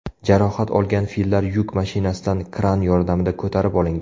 Jarohat olgan fillar yuk mashinasidan kran yordamida ko‘tarib olingan.